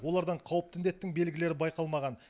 олардан қауіпті індеттің белгілері байқалмаған